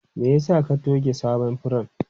Me yasa ka tuge sabon furen?